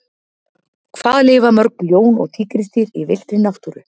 Hvað lifa mörg ljón og tígrisdýr í villtri náttúru?